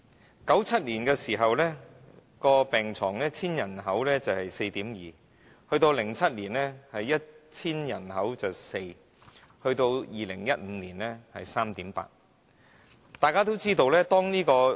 1997年，病床對人口的比例是每千人對 4.2； 到了2007年是每千人對 4；2015 年是每千人對 3.8。